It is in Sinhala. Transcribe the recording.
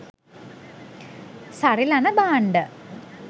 සරිලන භාණ්ඩ